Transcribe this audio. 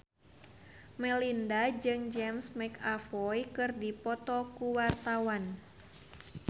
Melinda jeung James McAvoy keur dipoto ku wartawan